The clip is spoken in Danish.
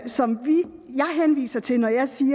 som jeg henviser til når jeg siger